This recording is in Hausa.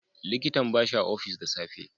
likitan bashi a ofishi da safe.